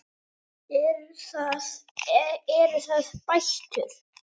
Eru það bætur?